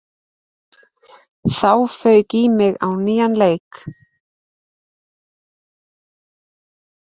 Þá fauk í mig á nýjan leik.